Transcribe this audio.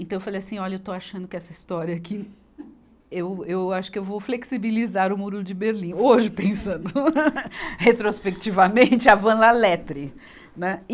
Então eu falei assim, olha, eu estou achando que essa história aqui, eu, eu acho que eu vou flexibilizar o muro de Berlim, hoje pensando retrospectivamente, a Van La Lettre. Né. E